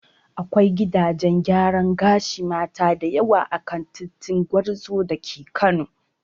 Akwai gidajen gyaran gashin Mata da yawa a kan titin Gwarzo da ke Kano.